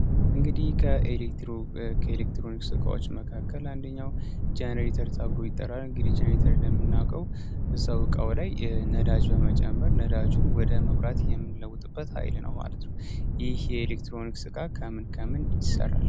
እንግዲህ ኤከኤሌክትሮኒክ ሥቃዎች መካከል አንደኛው ጀኔሬተር ታብሩ ይጠራል። እንግዲህ ጀኔተር እንደሚናቀው ዛ ውቃው ላይ ነዳጅ በመጨመር ነዳጁን ወደ መብራት የምንለውጥበት ኃይል ነው ማለት ነው። ይህ የኤሌክትሮኒክ ሥቃ ከምን ከምን ይሠራል?